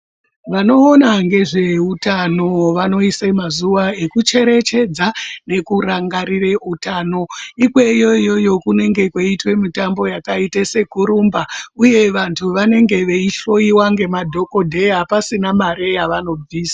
Vanoona ngezveutano vanoise mazuva ekucherechedza nekurangarire utano ikweyo iyoyo kunenge kweiitwa mitambo yakaita sekurumba uye vantu vanange veihloyiwa ngemadhogodheya pasina mari yavanobvisa.